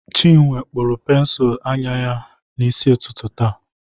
Chinwe kpụrụ pensụl anya ya n'isi ụtụtụ taa